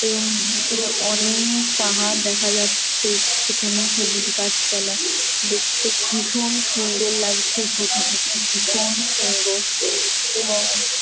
এবং দূরে অনেক পাহাড় দেখা যাচ্ছে সেখানেও সবুজ গাছ পালা দেখতে ভিশন সুন্দর লাগছে প্রকৃতিটি ভিশন সুন্দর এবং--